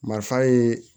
Marifa ye